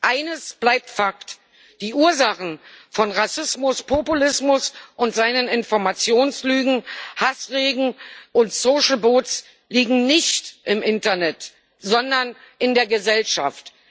Eines bleibt Fakt Die Ursachen von Rassismus, Populismus und seinen Informationslügen, Hassreden und Social Bots liegen nicht im Internet, sondern in der Gesellschaft.